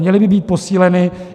Měly by být posíleny.